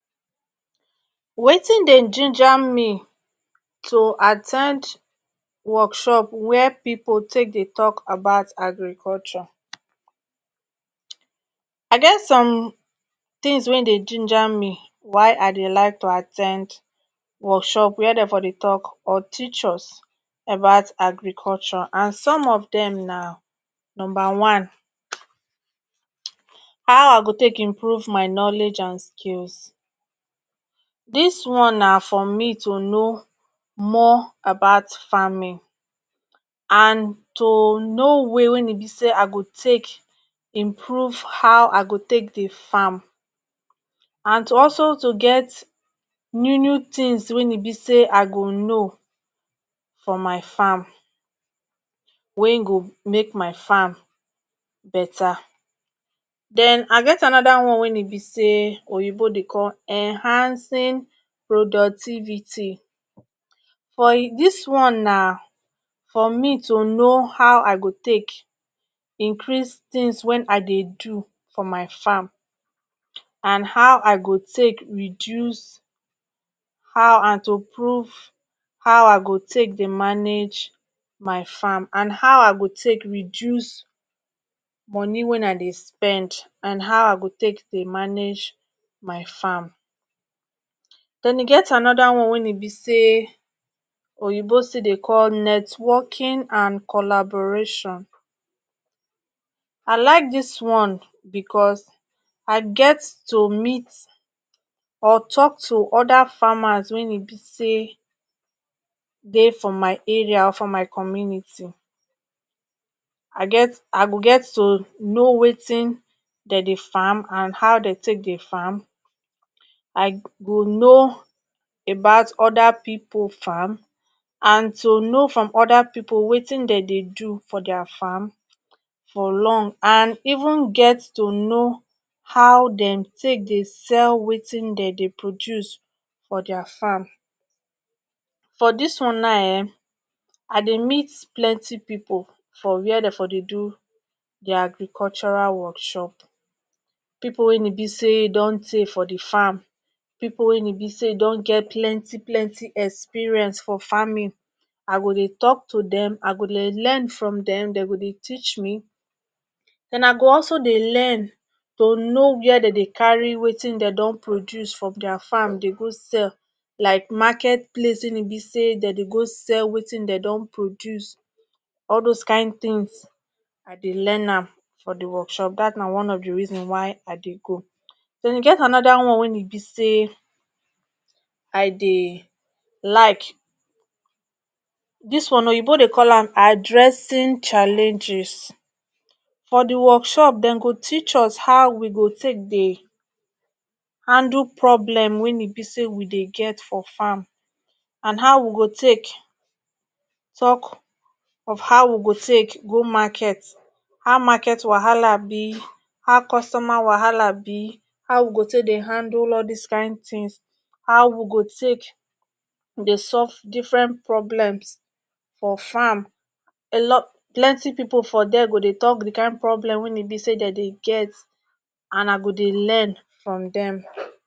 watin dey ginger me to at ten d workshop wey people take dey talk agriculture I get some tins wey dey ginger me wai I dey like to at ten d workshop wey Dem dey teach us about agriculture and some of Dem na numba one how I go take improve my knowledge and skills dis one na for me to know more about farming and to know way wey e be say I go take improve how I go take dey farm and to also to get new new tins wa e be say I go know for my farm wey go make my farm beta then I get anoda one wey e be say oyinbo dey call enhancing productivity for he dis one na for me to know how i go take increase tins wa I dey do for my farm and how I go take reduce how and to prove how I go take dey manage my farm and how I go take reduce money wa I dey spend and how I go tey dey manage my farm Dem e get anoda one wa e be say oyinbo still deh call networking and collaboration I like dis one because I get to meet or talk to oda farmers wen e be say dey for my area and community I get I go get to know watin De dey farm and how de dey farm I go know about people farm and to know from oda people watin De dey do for dia farm for long and even get to no how Dem tey dey sell watin De dey produce for dia farm for dis one na um I dey meet plenty people for were De for dey do dia agricultural workshop people wey e be say Dem don tey for de farm people wey e be say Dem don get plenty plenty experience for farming i go dey talk to Dem I go dey learn from Dem Dem go dey teach me Den I go also dey learn to know were Dem dey carry watin Dem don produce from dia farm dey go sell like market place wen e be say Dem go go sell watin Dem don produce all dose kin tins I dey learn am for de workshop dat na one of the reason wai I dey go then e get anoda one wenne be say I dey like dis one oyinbo dey call am addressing challenges for de workshop Dem go teach us how we go take dey handle problem wen e be say we dey get for farm and how we go take talk of how we go talk go Market how market wahala be how customer wahala be how we go take dey handle all dose kin tins how we go take dey solve different problems for farm alo plety people for die go dey de kin problem wa Dem dey get and I go dey learn from dem